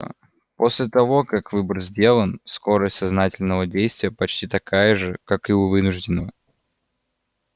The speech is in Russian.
а после того как выбор сделан скорость сознательного действия почти такая же как и вынужденного